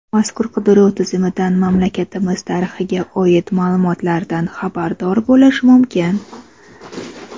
mazkur qidiruv tizimidan mamlakatimiz tarixiga oid ma’lumotlardan xabardor bo‘lish mumkin.